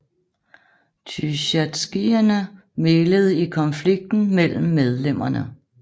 Tysjatskijene mæglede i konflikter mellem medlemmerne